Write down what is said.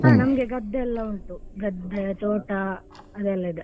ಹಾ ನಮ್ಗೆ ಗದ್ದೆಯಲ್ಲ ಉಂಟು ಗದ್ದೆ ತೋಟ ಅದೆಲ್ಲಾ ಇದೆ.